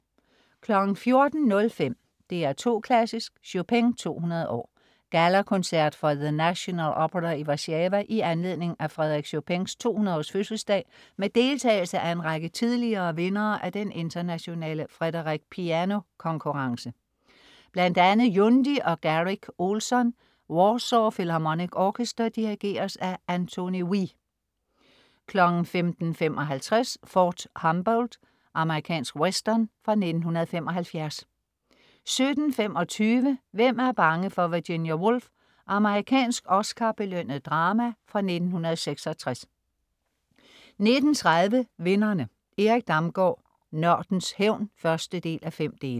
14.05 DR2 Klassisk: Chopin 200 år. Gala Concert fra The National Opera i Warszawa i anledning af Frederic Chopin's 200 års fødselsdag med deltagelse af en række tidligere vindere af Den Internationale Frédéric Piano konkurrence, bl.a. Yundi og Garrick Ohlsson. Warsaw Philharmonic Orchestra dirigeres af Antoni Wi 15.55 Fort Humboldt. Amerikansk western fra 1975 17.25 Hvem er bange for Virginia Woolf? Amerikansk Oscar-belønnet drama fra 1966 19.30 Vinderne. Erik Damgaard "Nørdens hævn" 1:5